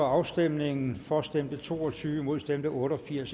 afstemningen slutter for stemte to og tyve imod stemte otte og firs